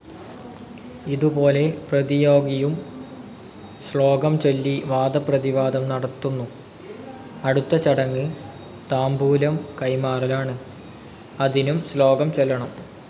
ഇതുപോലെ പ്രതിയോഗിയും ശ്ലോകംചൊല്ലി വാദപ്രതിവാദം നടത്തുന്നു. അടുത്ത ചടങ്ങ് താംബൂലം കൈമാറലാണ്. അതിനും ശ്ലോകം ചൊല്ലണം.